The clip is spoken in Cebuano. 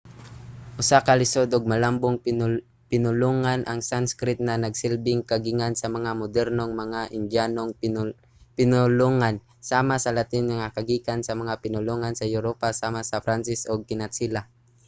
usa ka lisod ug malambong pinulungan ang sanskrit nga nagsilbing kagikan sa mga modernong mga indyanong pinulongan sama sa latin nga kagikan sa mga pinulungan sa europa sama sa pranses ug kinatsila